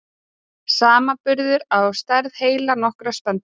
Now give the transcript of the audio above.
Samanburður á stærð heila nokkurra spendýra.